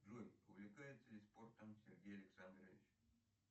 джой увлекается ли спортом сергей александрович